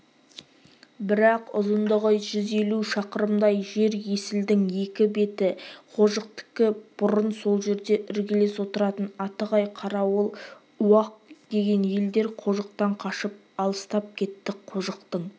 бірақ ұзындығы жүз елу шақырымдай жер есілдің екі беті қожықтікі бұрын сол жерде іргелес отыратын атығай-қарауыл уақ деген елдер қожықтан қашып алыстап кетті қожықтың